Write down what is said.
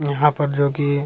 यहाँ पर जो की --